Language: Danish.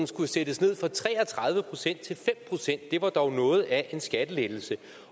skulle sættes ned fra tre og tredive procent til fem procent det var dog noget af en skattelettelse